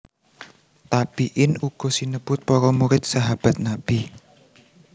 Tabi in uga sinebut para murid Sahabat Nabi